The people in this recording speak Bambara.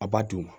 A b'a dun